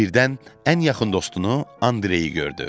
Birdən ən yaxın dostunu Andreyi gördü.